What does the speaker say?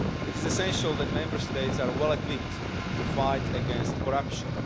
It is essential that Member States are well equipped to fight against corruption.